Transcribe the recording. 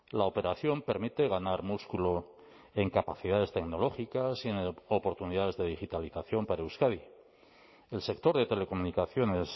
la operación permite ganar músculo en capacidades tecnológicas y en oportunidades de digitalización para euskadi el sector de telecomunicaciones